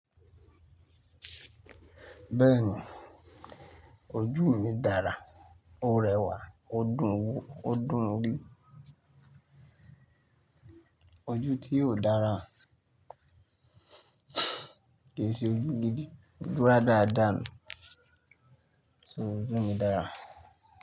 Bẹ́ẹ̀ni, ojú mi dára, ó rẹwà ó dùn wo, ó dùn rí. Ojú tí ò dára kì í ṣe ojú gidi. Dura dáadáa nu. So ojú mi dára.